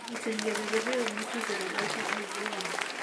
Miten kebeberwek mutu chebo hyper IgM